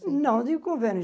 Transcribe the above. Não de